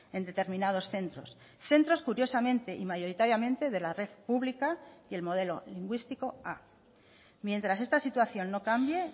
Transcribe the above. en determinados centros centros curiosamente y mayoritariamente de la red pública y el modelo lingüístico a mientras esta situación no cambie